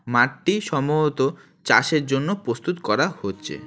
মাঠটি সম্ভবত চাষের জন্য প্রস্তুত করা হচ্ছে।